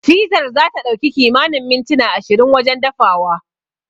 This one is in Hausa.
Fizar zata ɗauki kimanin mintuna ashirin wajen dafawa.